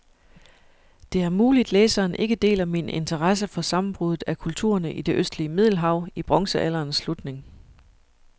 Det er muligt, læseren ikke deler min interesse for sammenbruddet af kulturerne i det østlige middelhav i bronzealderens slutning.